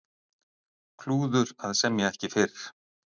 Klúður að semja ekki fyrr